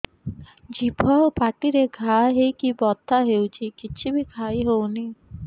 ଜିଭ ଆଉ ପାଟିରେ ଘା ହେଇକି ବଥା ହେଉଛି କିଛି ବି ଖାଇହଉନି